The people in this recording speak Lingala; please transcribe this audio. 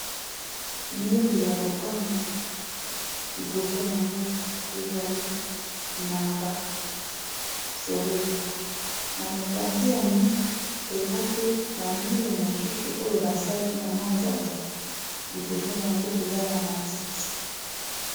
Mire ya lopango liboso nango ezali na ba fololo na mopanzi ya mire eza pe na mire mosusu oyo basali na manzanza liboso nango eza na matiti.